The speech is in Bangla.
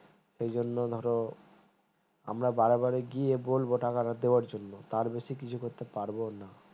সেই জন্য ধরো আমরা বারে বারে গিয়ে বলবো টাকাটার দেওয়ার জন্য তার বেশি কিছু করতে পারবো না।